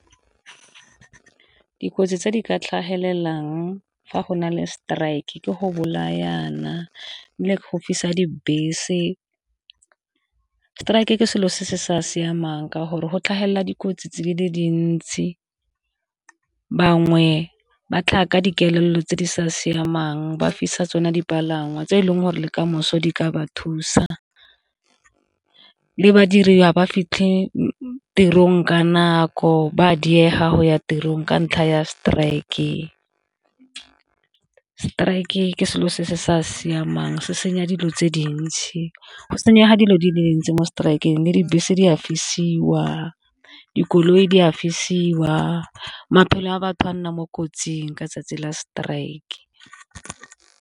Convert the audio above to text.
Dikotsi tse di ka tlhagelelang fa go na le strike ke go bolayana le go fisa dibese. Strike e ke selo se se sa siamang ka gore go tlhagelela dikotsi tse di le dintsi bangwe ba tlhaga ka dikelelo tse di sa siamang ba fisa tsone dipalangwa tse e leng gore le kamoso di ka ba thusa, le badiri ba ba fitlhe tirong ka nako ba diega go ya tirong ka ntlha ya strike-e. Strike ke selo se se sa siamang se senya dilo tse dintsi go senyega dilo di le dintsi mo strike-ng le dibese di a fisiwa, dikoloi di fisiwa maphelo a batho ba nna mo kotsing ka 'tsatsi la strike.